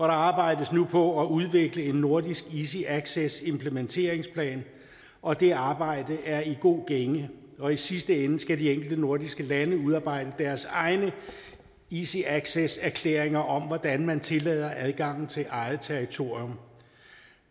arbejdes nu på at udvikle en nordisk easy access implementeringsplan og det arbejde er i god gænge og i sidste ende skal de enkelte nordiske lande udarbejde deres egne easy access erklæringer om hvordan man tillader adgang til eget territorium